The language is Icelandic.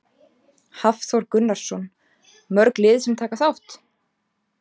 Hafþór Gunnarsson: Mörg lið sem taka þátt?